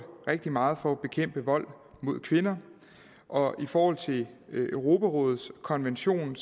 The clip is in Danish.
rigtig meget for at bekæmpe vold mod kvinder og i forhold til europarådets konvention